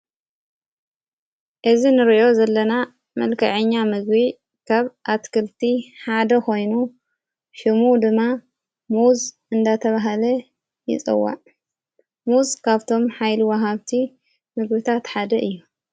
እዝ ንርእዮ ዘለና መልከዐኛ ምግ ካብ ኣትክልቲ ሓደ ኾይኑ ሽሙ ድማ ሙዝ እንዳተብሃለ ይጸዋዕ ሙዝ ካብቶም ኃይልዋሃብቲ ምግሪታትሓደ እዩ።